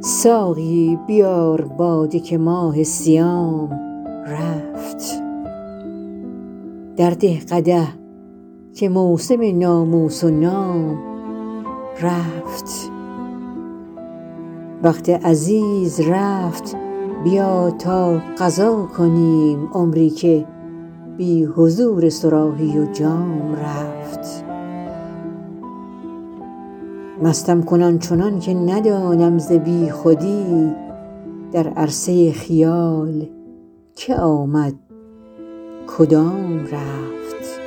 ساقی بیار باده که ماه صیام رفت درده قدح که موسم ناموس و نام رفت وقت عزیز رفت بیا تا قضا کنیم عمری که بی حضور صراحی و جام رفت مستم کن آن چنان که ندانم ز بی خودی در عرصه خیال که آمد کدام رفت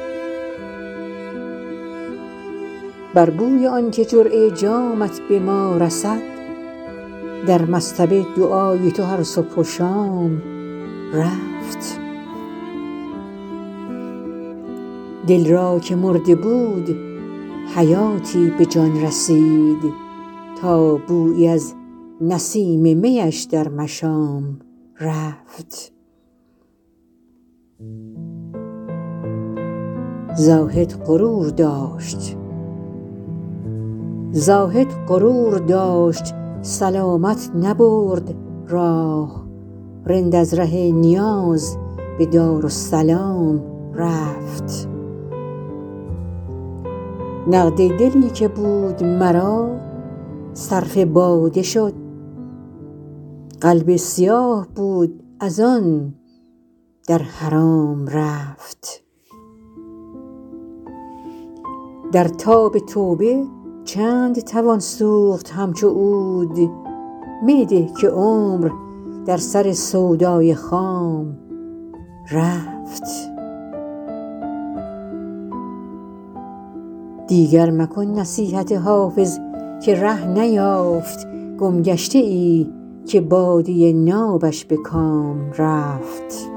بر بوی آن که جرعه جامت به ما رسد در مصطبه دعای تو هر صبح و شام رفت دل را که مرده بود حیاتی به جان رسید تا بویی از نسیم می اش در مشام رفت زاهد غرور داشت سلامت نبرد راه رند از ره نیاز به دارالسلام رفت نقد دلی که بود مرا صرف باده شد قلب سیاه بود از آن در حرام رفت در تاب توبه چند توان سوخت همچو عود می ده که عمر در سر سودای خام رفت دیگر مکن نصیحت حافظ که ره نیافت گمگشته ای که باده نابش به کام رفت